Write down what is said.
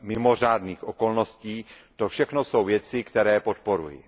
mimořádných okolností, to všechno jsou věci, které podporuji.